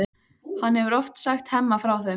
Hann hefur oft sagt Hemma frá þeim.